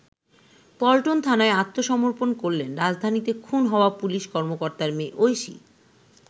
পল্টন থানায় আত্মসমর্পন করলেন রাজধানীতে খুন হওয়া পুলিশ কর্মকর্তার মেয়ে ঐশী।